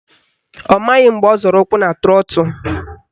Ọ maghị mgbe ọ zọrọ ụkwụ na trọtụ